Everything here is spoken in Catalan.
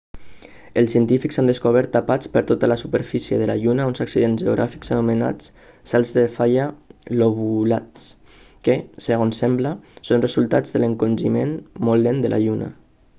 els científics han descobert tapats per tota la superfície de la lluna uns accidents geogràfics anomenats salts de falla lobulats que segons sembla són el resultat de l'encongiment molt lent de la lluna